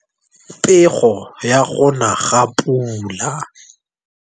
Pego ya go na ga pula.